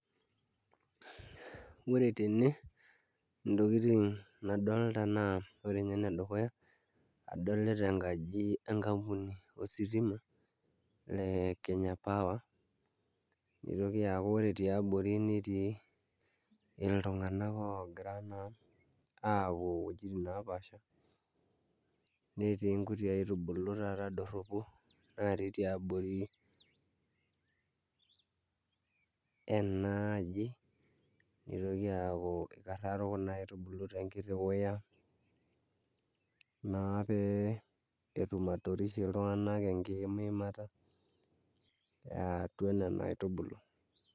Ore tene intokitin nadolta ore ninye enedukuya adolita enkaji enkampuni ositima e Kenya Power nitoki aaku ore tiabori netii iltung'anak oogira naa aapuo iwuejitin naapaasha netii nkuti aitubulu taata dorropu naatii tiabori ena aji nitoki aaku ikarraro kuna aitubulu toonkuti wuya naa pee etum atorishie iltung'anak enkiimiimata e atua nena aitubulu.